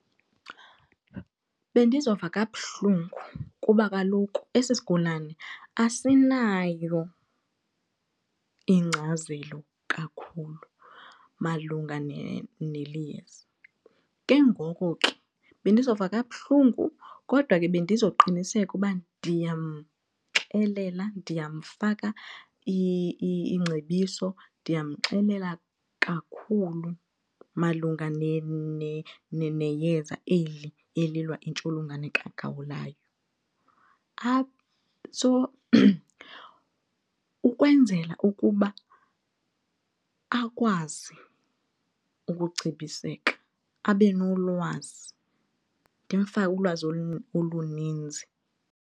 Bendizova kabuhlungu kuba kaloku esi sigulane asinayo ingcazelo kakhulu malunga neli yeza. Ke ngoku ke bendizova kabuhlungu kodwa ke bendizoqiniseka ukuba ndiyamxelela ndiyamfaka iingcebiso ndiyamxelela kakhulu malunga neyeza eli elilwa intsholongwane kagawulayo. So ukwenzela ukuba akwazi ukucebiseka abe nolwazi ndimfake ulwazi oluninzi.